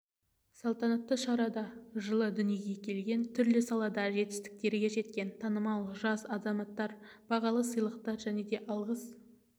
салтанатты шарада жылы дүниеге келген түрлі салада жетістікке жеткен танымал жас азаматтар бағалы сыйлықтар және алғыс